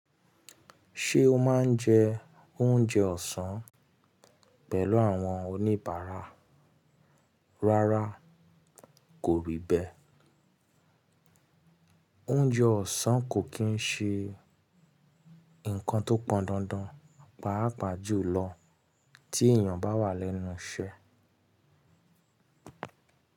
Ṣé o máa ń jẹ oúnjẹ ọ̀sán pẹ̀lú àwọn oníbàárà? Rárá, kò rí bẹ́. Oúnjẹ ọ̀sán kò kí ń ṣe nǹkan tó pọn dandan, pàápàá jùlọ tí èèyàn bá wà lẹ́nu iṣẹ́